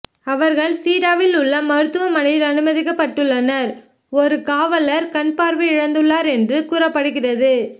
அவர்கள் சீடாவில் உள்ள மருத்துவமனையில் அனுமதிக்கப்பட்டுள்ளனர் ஒரு காவலர் கண்பார்வையை இழந்துள்ளார் என்று கூறப்படுகிறது